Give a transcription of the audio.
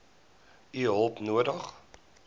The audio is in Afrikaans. u hulp nodig